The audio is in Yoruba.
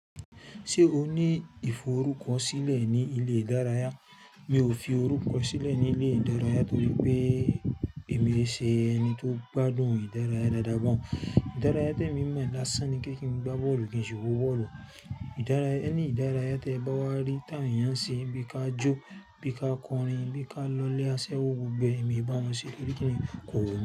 Ṣé o ní ìforúkọ sílẹ̀ ní ilé ìdárayá? Mi ò fi orúkọ sílẹ̀ ní ilé ìdárayá torí pé èmi è ṣe ẹni tó gbádùn ìdárayá dáadáa gan. Ìdárayá tí èmi mọ̀ lásán ni kí n gbá bọ́ọ̀lù kí n sì wo bọ́ọ̀lù. Any ìdárayá tí ẹ bá wá rí ti awon ayàn se bí ka jó, bí ka kọrin, bí ka lọlé asẹ́wó gbogbo e, èmi e bá wọn ṣe torí kí ni kò wù mí.